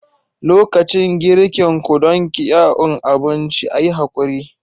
Lokacin girkin ku don kyuan abinci, a yi haƙuri.